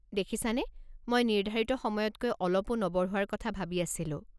দেখিছানে, মই নিৰ্ধাৰিত সময়তকৈ অলপো নবঢ়োৱাৰ কথা ভাবি আছিলো।